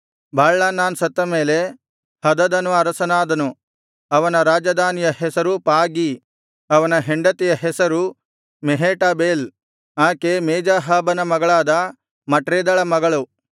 Baalhanan ಸತ್ತ ಮೇಲೆ ಹದದನು ಅರಸನಾದನು ಅವನ ರಾಜಧಾನಿಯ ಹೆಸರು ಪಾಗೀ ಅವನ ಹೆಂಡತಿಯ ಹೆಸರು ಮೆಹೇಟಬೇಲ್ ಆಕೆ ಮೇಜಾಹಾಬನ ಮಗಳಾದ ಮಟ್ರೇದಳ ಮಗಳು